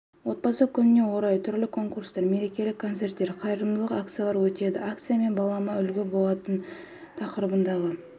отбасы күніне орай түрлі конкурстар мерекелік концерттер қайырымдылық акциялары өтеді акция мен балама үлгі боламын тақырыбындағы